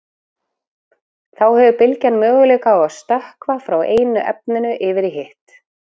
þá hefur bylgjan möguleika á að „stökkva“ frá einu efninu yfir í hitt